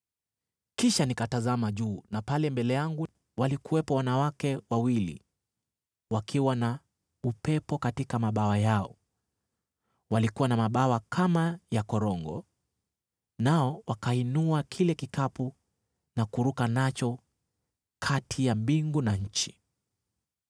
Kisha nikatazama juu: na pale mbele yangu, walikuwepo wanawake wawili, wakiwa na upepo katika mabawa yao! Walikuwa na mabawa kama ya korongo, nao wakainua kile kikapu na kuruka nacho kati ya mbingu na nchi.